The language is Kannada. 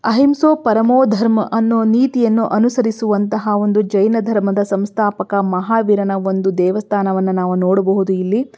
ಅಹಿಂಸಾ ಪರ್ಮಾಧರ್ಮ ಅನ್ನು ನೀತಿಯನ್ನು ಅನುಸರಿಸುವಂತಹ ಒಂದು ಜೈನ ಧರ್ಮದ ಸಂಸ್ಥಾಪಕ ಮಹಾವೀರನ ಒಂದು ದೇವಸ್ಥಾನವನ್ನು ನಾವು ನೋಡಬಹುದು ಇಲ್ಲಿ.